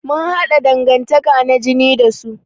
Mun haɗa dangantaka na jini da su.